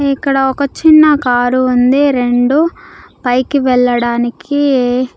ఇక్కడ ఒక చిన్న కారు ఉంది రెండు పైకి వెళ్ళడానికి.